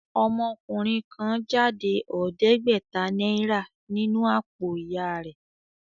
Ọmọkùnrin kan jáde ọ̀ọ́dẹ́gbẹ̀tà náírà nínú àpò ìyà rẹ̀